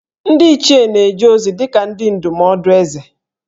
Ndị Ichie na-eje ozi dị ka ndị ndụmọdụ Ézè